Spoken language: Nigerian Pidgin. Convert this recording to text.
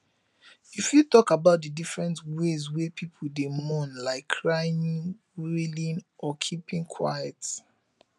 you fit talk about di different ways wey people dey mourn like crying wailing or keeping quiet